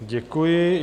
Děkuji.